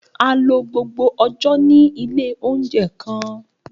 A lo gbogbo ọjọ ni ile ounjẹ kan.